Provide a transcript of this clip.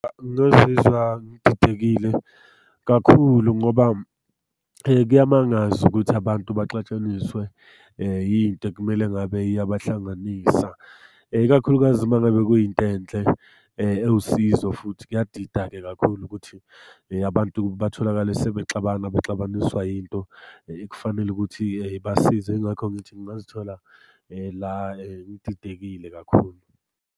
Ngazizwa ngididekile kakhulu, ngoba kuyamangaza ukuthi abantu baxatshaniswe yinto ekumele ngabe iyabahlanganisa. Ikakhulukazi uma ngabe kuyinto enhle ewusizo, futhi kuyadida-ke kakhulu ukuthi abantu batholakale sebexabana bexabaniswa yinto ekufanele ukuthi ibasize. Yingakho ngithi ngingazithola la ngididekile kakhulu.